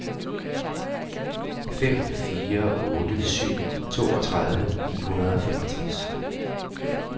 fem fire otte syv toogtredive ni hundrede og femogtres